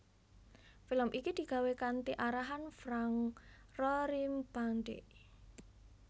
Film iki digawé kanthi arahann Frank Rorimpandey